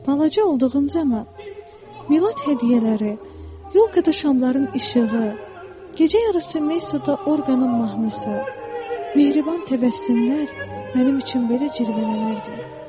Balaca olduğum zaman milad hədiyyələri, yolka da şamların işığı, gecə yarısı meysutda orqanın mahnısı, mehriban təbəssümlər mənim üçün belə cırvələnirdi.